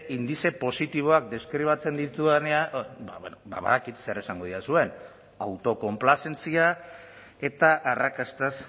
indize positiboak deskribatzen ditudanean ba bueno ba badakit zer esango didazuen autokonplazentzia eta arrakastaz